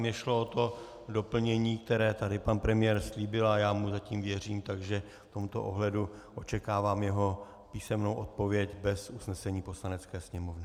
Mně šlo o to doplnění, které tady pan premiér slíbil, a já mu zatím věřím, takže v tomto ohledu očekávám jeho písemnou odpověď bez usnesení Poslanecké sněmovny.